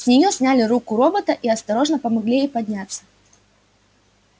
с неё сняли руку робота и осторожно помогли ей подняться